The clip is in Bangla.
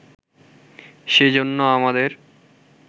সেই জন্য আমাদের